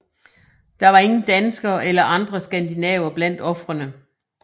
Der var ingen danskere eller andre skandinaver blandt ofrene